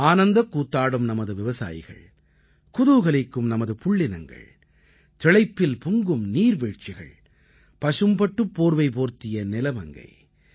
ஆனந்தக் கூத்தாடும் நமது விவசாயிகள் குதூகலிக்கும் நமது புள்ளினங்கள் திளைப்பில் பொங்கும் நீர்வீழ்ச்சிகள் பசும்பட்டுப்போர்வை போர்த்திய நிலமங்கை